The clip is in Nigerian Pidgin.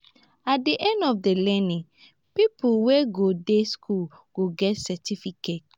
at the end of di learning pipo wey go dey school go get cerificate